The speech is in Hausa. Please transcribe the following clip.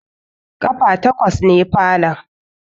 Ƙafa takwas ne falon